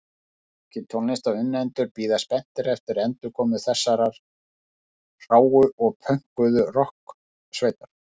Margir tónlistarunnendur bíða spenntir eftir endurkomu þessarar hráu og pönkuðu rokksveitar.